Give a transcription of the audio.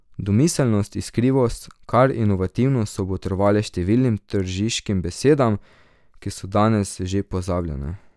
Domiselnost, iskrivost, kar inovativnost so botrovale številnim tržiškim besedam, ki so danes že pozabljene.